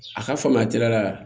A ka faamuya teliya la